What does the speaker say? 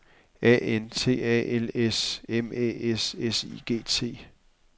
A N T A L S M Æ S S I G T